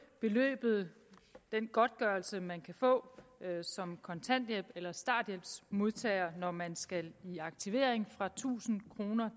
beløbet den godtgørelse man kan få som kontanthjælps eller starthjælpsmodtager når man skal i aktivering fra tusind kroner